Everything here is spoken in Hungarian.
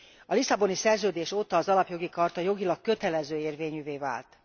A Lisszaboni Szerződés óta az Alapjogi Charta jogilag kötelező érvényűvé vált.